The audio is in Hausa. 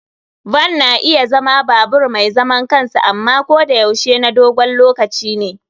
Van na iya zama babur mai zaman kansa amma ko da yaushe na dogon lokaci ne.